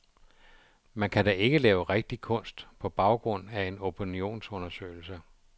Man kan da ikke lave rigtig kunst på baggrund af en opinionsundersøgelse.